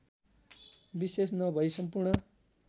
विशेष नभई सम्पूर्ण